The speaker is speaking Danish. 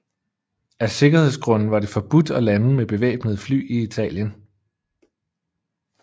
Af sikkerhedsgrunde var det forbudt at lande med bevæbnede fly i Italien